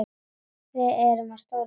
Við erum á stóru svæði.